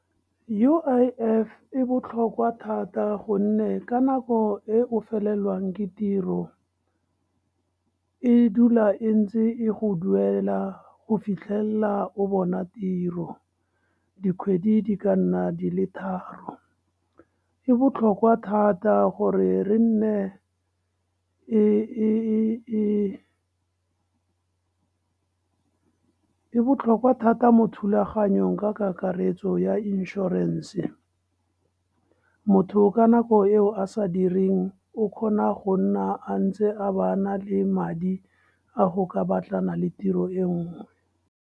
U_I_F e botlhokwa thata gonne ka nako e o felelwang ke tiro, e dula e ntse e go duela go fitlhelela o bona tiro, dikgwedi di ka nna di le tharo. E botlhokwa thata gore re nne e botlhokwa thata mo thulaganyong ka kakaretso ya inšorense. Motho ka nako eo a sa direng o kgona go nna a ntse a bana le madi a go ka batlana le tiro e nngwe.